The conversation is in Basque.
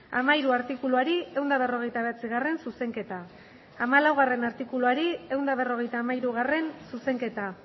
hamairu artikuluari ehun eta berrogeita bederatzigarrena zuzenketa hamalaugarrena artikuluari ehun eta berrogeita hamairu zuzenketa